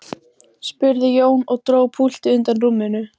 segi ég og vek athygli á tiltekt minni.